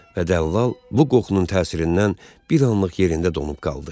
Və dəllal bu qoxunun təsirindən bir anlıq yerində donub qaldı.